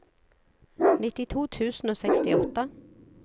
nittito tusen og sekstiåtte